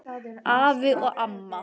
Afi og amma